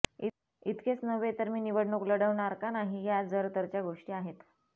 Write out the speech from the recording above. इतकेच नव्हे तर मी निवडणूक लढवणार का नाही ह्या जर तरच्या गोष्टी आहेत